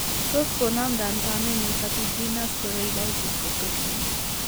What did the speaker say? Tos konamndan kamenyun serpiginous choroiditis kot kotinye